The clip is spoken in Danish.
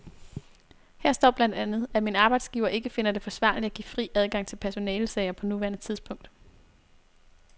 Her står blandt andet, at min arbejdsgiver ikke finder det forsvarligt at give fri adgang til personalesager på nuværende tidspunkt.